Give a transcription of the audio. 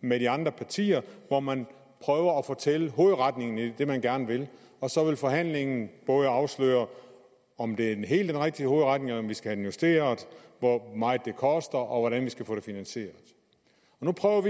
med de andre partier hvor man prøver at fortælle hovedretningen i det man gerne vil og så vil forhandlingen både afsløre om det er den helt rigtige hovedretning eller om den skal justeres hvor meget det koster og hvordan vi skal få det finansieret nu prøver vi